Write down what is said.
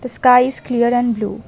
The sky is clear and blue.